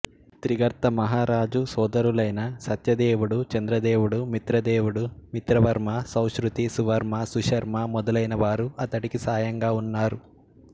త్రిగర్త మహారాజు సోదరులైన సత్యదేవుడు చంద్రదేవుడు మిత్రదేవుడు మిత్రవర్మ సౌశ్రుతి సువర్మ సుశర్మ మొదలైన వారు అతడికి సాయంగా ఉన్నారు